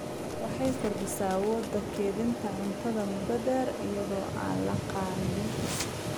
Waxay kordhisaa awoodda kaydinta cuntada muddo dheer iyada oo aan la kharribin.